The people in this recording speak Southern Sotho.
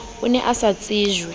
o ne a sa tsejwe